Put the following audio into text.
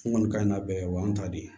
N kɔni ka n ka bɛɛ wa y'an ta de